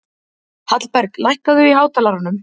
Hallberg, lækkaðu í hátalaranum.